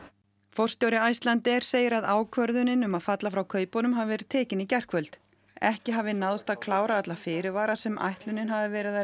forstjóri Icelandair segir að ákvörðunin um að falla frá kaupunum hafi verið tekin í gærkvöld ekki hafi náðst að klára alla fyrirvara sem ætlunin hafi verið að